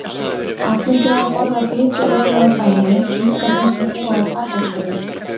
Allir þurfa að borða fituauðuga fæðu, líka þeir sem búa á Patreksfirði.